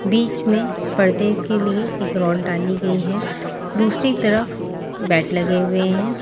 बीच में पर्दे के लिए एक रॉड डाली गई है दूसरी तरफ बेड लगे हुए हैं।